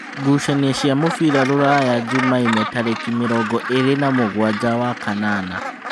Ngucanio cia mũbira Rūraya Jumaine tarĩki mĩrongo ĩrĩ na mũgwanja wa-kanana.